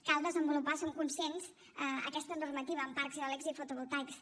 cal desenvolupar en som conscients aquesta normativa en parcs eòlics i fotovoltaics